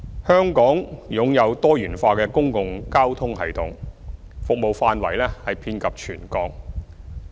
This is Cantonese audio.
香港擁有多元化的公共交通系統，服務範圍遍及全港。